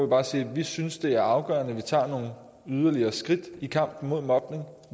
bare siger at vi synes det er afgørende at vi tager yderligere skridt i kampen mod mobning